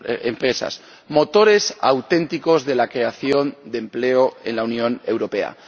empresas, motores auténticos de la creación de empleo en la Unión Europea.